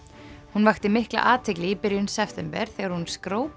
hún vakti mikla athygli í byrjun september þegar hún